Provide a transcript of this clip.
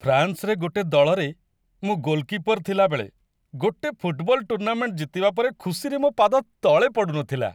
ଫ୍ରାନ୍ସରେ ଗୋଟେ ଦଳରେ ମୁଁ ଗୋଲକିପର୍ ଥିଲାବେଳେ ଗୋଟେ ଫୁଟବଲ ଟୁର୍ଣ୍ଣାମେଣ୍ଟ ଜିତିବା ପରେ ଖୁସିରେ ମୋ ପାଦ ତଳେ ପଡ଼ୁନଥିଲା!